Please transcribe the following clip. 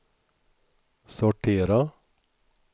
sortera